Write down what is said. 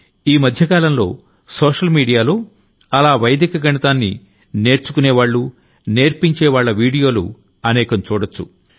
అసలీ మధ్య కాలంలో సోషల్ మీడియాలో అలా వైదిక గణితాన్ని నేర్చుకునేవాళ్లు నేర్పించేవాళ్ల వీడియాలు అనేకం చూడొచ్చు